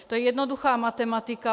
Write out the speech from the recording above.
To je jednoduchá matematika.